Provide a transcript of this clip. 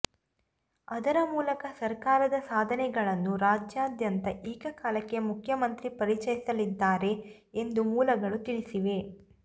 ಅದರ ಮೂಲಕ ಸರ್ಕಾರದ ಸಾಧನೆಗಳನ್ನು ರಾಜ್ಯದಾದ್ಯಂತ ಏಕಕಾಲಕ್ಕೆ ಮುಖ್ಯಮಂತ್ರಿ ಪರಿಚಯಿಸಲಿದ್ದಾರೆ ಎಂದೂ ಮೂಲಗಳು ತಿಳಿಸಿವೆ